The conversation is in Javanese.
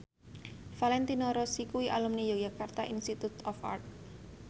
Valentino Rossi kuwi alumni Yogyakarta Institute of Art